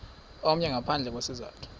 omnye ngaphandle kwesizathu